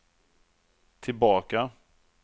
tillbaka